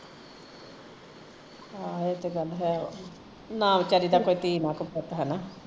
ਹਾਂ ਇਹ ਤੇ ਗੱਲ ਹੈ ਨਾ ਵੀਚਾਰੀ ਦਾ ਕੋਈ ਧੀ ਨਾ ਕੋਈ ਪੁੱਤ